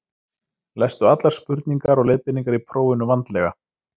Lestu allar spurningar og leiðbeiningar í prófinu vandlega.